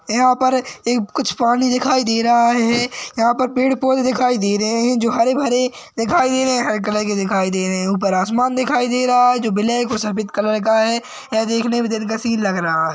यहाँ पर ए कुछ पानी दिखाई दे रहा है यहाँ पर पेड़ -पौधे दिखाई दे रहे है जो हरे -भरे दिखाई दे रहे है हरे कलर के दिखाई दे रहे है ऊपर आसमान दिखाई दे रहा है जो ब्लैक और सफेद कलर का है यह देखने में दिलकशीन लग रहा हैं।